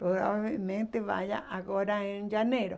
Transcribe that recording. Provavelmente vai a agora em janeiro.